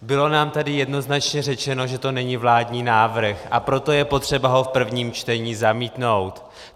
Bylo nám tady jednoznačně řečeno, že to není vládní návrh, a proto je potřeba ho v prvním čtení zamítnout.